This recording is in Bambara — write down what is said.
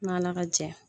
N' ala ka jɛ